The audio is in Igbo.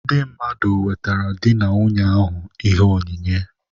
Ndị mmadụ na-ewetere di na nwunye ọhụrụ ahụ ihe onyinye.